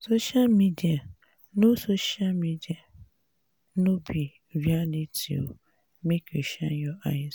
social media no social media no be reality o make you shine your eyes.